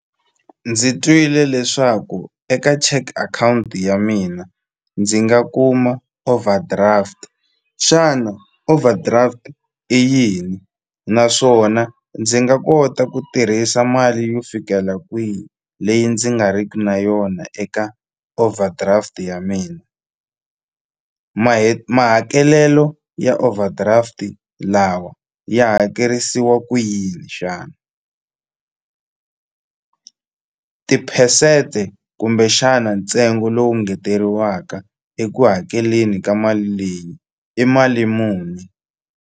Ndzi twile leswaku eka cheque akhawunti ya mina ndzi nga kuma overdraft xana overdraft i yini naswona ndzi nga kota ku tirhisa mali yo fikela kwini leyi ndzi nga riki na yona eka overdraft ya mina mahakelelo ya overdraft lawa ya hakerisiwa ku yini xana tiphesente kumbexana ntsengo lowu engeteriwaka eku hakeleni ka mali leyi i mali muni.